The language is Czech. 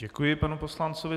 Děkuji panu poslanci.